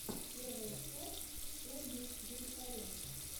первая часть ольги директоренко